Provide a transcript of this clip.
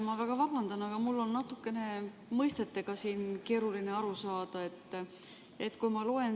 Ma väga vabandan, aga mul on mõistetest natukene keeruline aru saada.